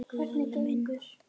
Lalli minn?